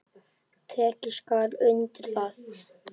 Tekið skal undir það.